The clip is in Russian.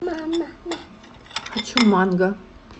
хочу манго